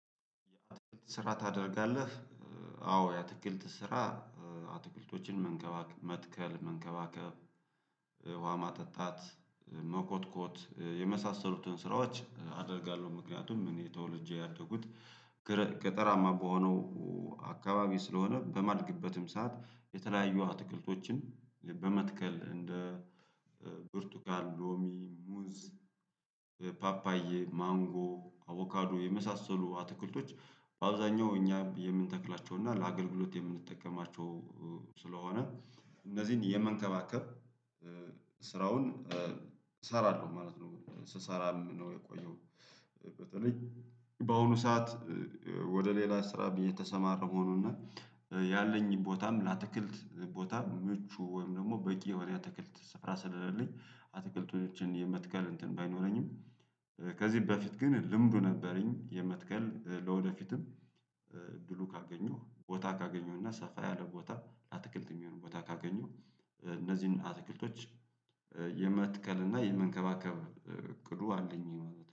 ስራ ታደርጋለህ? አዎ የአትክልት ስራ አትክልቶችን መንከባከብ መትከል መንከባከብ ውሃ ማጠጣት መኮትኮት የመሳሰሉትን ስራዎች አደርጋለሁ። ምክንያቱም እኔ ተወልጄ ያደኩት ገጠራማ በሆነው አካባቢ ስለሆነ በማድግበትም ሰዓት የተለያየ አትክልቶችን በመትከል እንደ ብርቱጋል ሎሚ ሙዝ ፓፓዬ ማንጎ አቦካዶ የመሳሰሉ አትክልቶች በአብዛኛው እኛ የምንተክላቸው እና ለአገልግሎት የምንጠቀማቸው ስለሆነ እነዚህን የመንከባከብ ስራውን እሰራለሁ ማለት ነው። ስሰራም ነው የቆየው። በተለይ በአሁኑ ሰዓት ወደ ሌላ ስራ ብዬ የተሰማረ መሆኑን እና ያለኝን ቦታም ለአትክልት ቦታ ምቹ ወይም ደግሞ በቂ ወዲያ ትክልት ስፍራ ስለሌለኝ አትክልቶችን የመትከል እንትን ባይኖረኝም። ከዚህ በፊት ግን ልምዱ ነበረኝ የመትከል ለወደፊትም እድሉ ካገኘው ቦታ ካገኘው እና ሰፋ ያለ ቦታ አትክልት የሚሆን ቦታ ካገኘው እነዚህን አትክልቶች የመትከል እና የመንከባከብ እቅዱ አለኝ።